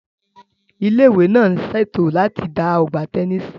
Ilé ìwé náà ń ṣètò láti dá ọgbà tẹnísì